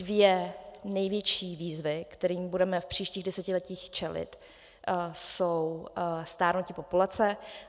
Dvě největší výzvy, kterým budeme v příštích desetiletích čelit, jsou stárnutí populace.